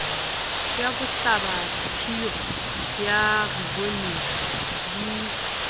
ya bohlabaphio ya rivonia di